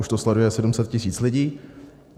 Už to sleduje 700 tisíc lidí.